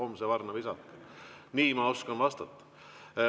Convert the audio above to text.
Nii ma oskan teile vastata.